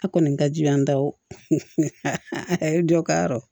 A kɔni ka jugu an taw ye dɔ ka yɔrɔ